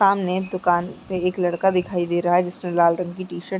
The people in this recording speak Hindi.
सामने दुकान पे एक लड़का दिखाई दे रहा है जिसने लाल रंग की टी-शर्ट --